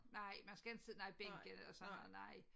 Nej man skal inte sidde nej bænke eller sådan noget nej